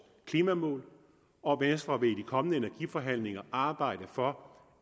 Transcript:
klimamål og venstre vil i de kommende energiforhandlinger arbejde for